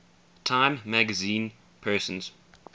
time magazine persons